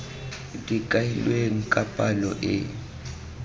di kailweng ka palo e